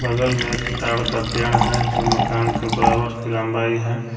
बगल में एक ताड का पेड़ है जो मकान के बराबर की लंबाई है।